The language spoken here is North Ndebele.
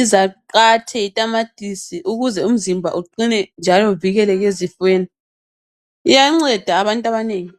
izaqathe, itamatisi , ukuze umzimba uqine. Uvikeleke ezifweni. lyanceda abantu abanengi.